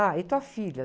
Ah, e tua filha?